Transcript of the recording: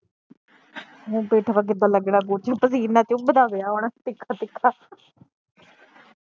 ਹੁਣ ਪਿੱਠ ਪੇ ਕਿੱਦਾ ਲੱਗਣਾ ਕੁਝ ਪਸੀਨਾ ਚੁਬਦਾ ਪਿਆ ਹੁਣ ਤਿੱਖਾ ਤਿੱਖਾ